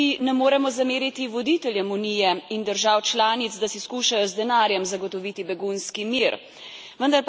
Kot tudi ne moremo zameriti voditeljem Unije in držav članic, da si skušajo z denarjem zagotoviti begunski mir.